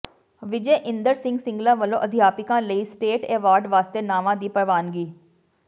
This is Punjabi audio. ਵਿਜੇ ਇੰਦਰ ਸਿੰਗਲਾ ਵੱਲੋਂ ਅਧਿਆਪਕਾਂ ਲਈ ਸਟੇਟ ਐਵਾਰਡ ਵਾਸਤੇ ਨਾਵਾਂ ਦੀ ਪ੍ਰਵਾਨਗੀ